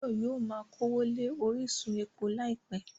Báyọ̀ yóò ma kówó lé orísun epo láìpẹ́